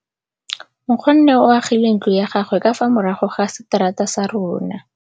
Nkgonne o agile ntlo ya gagwe ka fa morago ga seterata sa rona.